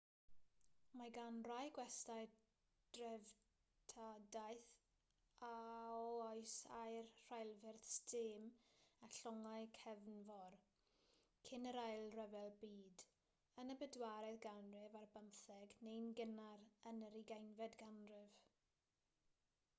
mae gan rai gwestyau dreftadaeth o oes aur rheilffyrdd stêm a llongau cefnfor cyn yr ail ryfel byd yn y bedwaredd ganrif ar bymtheg neu'n gynnar yn yr ugeinfed ganrif